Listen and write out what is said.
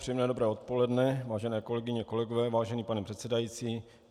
Příjemné dobré odpoledne, vážené kolegyně, kolegové, vážený pane předsedající.